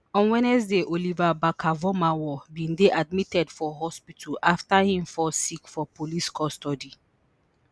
on wednesday Oliver Barker-Vormawor bin dey admitted for hospital afta him fall sick for police custody